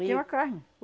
Tem uma carne.